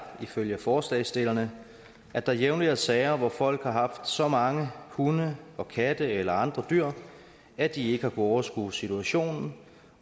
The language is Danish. ifølge forslagsstillerne at der jævnligt er sager hvor folk har haft så mange hunde og katte eller andre dyr at de ikke har kunnet overskue situationen